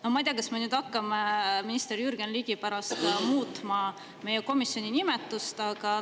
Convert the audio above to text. Ma ei tea, kas me hakkame nüüd minister Jürgen Ligi pärast komisjoni nimetust muutma.